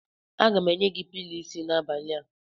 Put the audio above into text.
Aga m enye gị pilọ isi n'abalị a.